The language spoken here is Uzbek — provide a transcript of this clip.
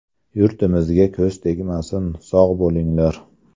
Yurtimizga ko‘z tegmasin, sog‘ bo‘linglar!